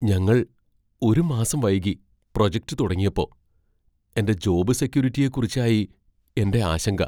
ഞങ്ങൾ ഒരു മാസം വൈകി പ്രൊജക്റ്റ് തുങ്ങിയപ്പോ , എന്റെ ജോബ് സെക്യൂരിറ്റിയെക്കുറിച്ചായി എന്റെ ആശങ്ക.